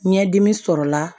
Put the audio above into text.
Ɲɛdimi sɔrɔla